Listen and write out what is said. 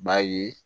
B'a ye